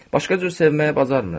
Başqa cür sevməyi bacarmırıq.